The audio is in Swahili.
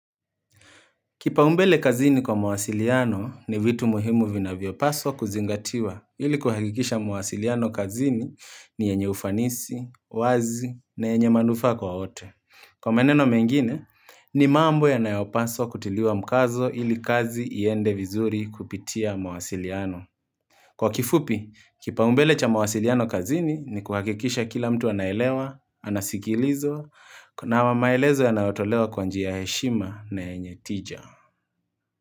Kipaumbele kazini kwa mwasiliano ni vitu muhimu vinavyopaswa kuzingatiwa ili kuhakikisha mwasiliano kazini ni yenye ufanisi, wazi na yenye manufa kwa wote. Kwa meneno mengine, ni mambo yanayopaswa kutiliwa mkazo ili kazi iende vizuri kupitia mwasiliano. Kwa kifupi, kipaumbele cha mwasiliano kazini ni kuhakikisha kila mtu anaelewa, anasikilizwa, na maelezo yanaotolewa kwanji ya heshima na yenye tija.